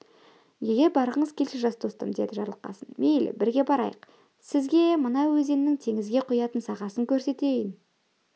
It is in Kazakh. егер барғыңыз келсе жас достым деді жарылқасын мейлі бірге барайық сізге мына өзеннің теңізге құятын сағасын көрсетейін